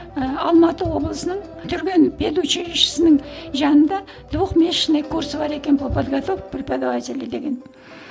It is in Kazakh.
ыыы алматы облысының түрген педучилищесінің жанында двух месячный курсы бар екен по подготовки преподавателей деген